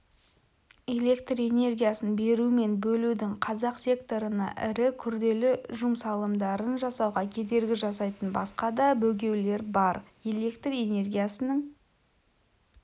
электр энергиясын беру мен бөлудің қазақ секторына ірі күрделі жұмсалымдарын жасауға кедергі жасайтын басқа да бөгеуілдер бар электр энергиясының